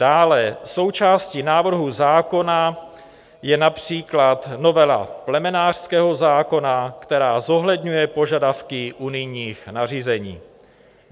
Dále součástí návrhu zákona je například novela plemenářského zákona, která zohledňuje požadavky unijních nařízení.